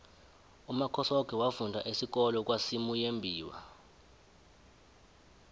umakhosoke wafunda isikolo kwasimuyembiwa